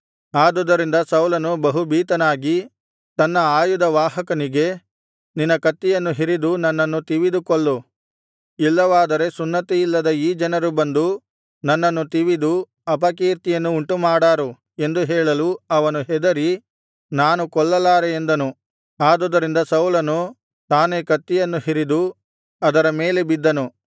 ಆದುದರಿಂದ ಸೌಲನು ಬಹು ಭೀತನಾಗಿ ತನ್ನ ಆಯುಧವಾಹಕನಿಗೆ ನಿನ್ನ ಕತ್ತಿಯನ್ನು ಹಿರಿದು ನನ್ನನ್ನು ತಿವಿದು ಕೊಲ್ಲು ಇಲ್ಲವಾದರೆ ಸುನ್ನತಿಯಿಲ್ಲದ ಈ ಜನರು ಬಂದು ನನ್ನನ್ನು ತಿವಿದು ಅಪಕೀರ್ತಿಯನ್ನು ಉಂಟುಮಾಡಾರು ಎಂದು ಹೇಳಲು ಅವನು ಹೆದರಿ ನಾನು ಕೊಲ್ಲಲಾರೆ ಎಂದನು ಆದುದರಿಂದ ಸೌಲನು ತಾನೇ ಕತ್ತಿಯನ್ನು ಹಿರಿದು ಅದರ ಮೇಲೆ ಬಿದ್ದನು